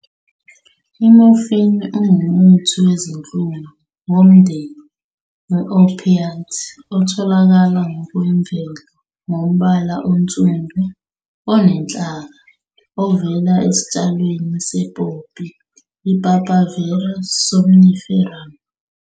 I-Morphine ngumuthi wezinhlungu womndeni we-opiate otholakala ngokwemvelo ngombala onsundu, onenhlaka, ovela esitshalweni se-poppy, "Papaver somniferum".